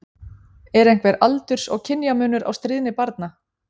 Er einhver aldurs- og kynjamunur á stríðni barna?